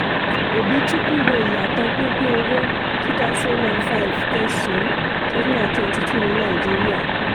obi-chukwu wo ìyàtọ̀ pípiń owó two thousand and five -kẹsàn-án thirteen dollars two thousand and twenty two ní nàìjíríà.